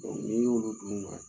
ni y'olu dun